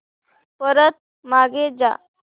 परत मागे जा